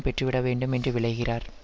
பெற்றுவிடவேண்டும் என்று விழைகிறார்